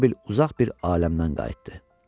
Elə bil uzaq bir aləmdən qayıtdı.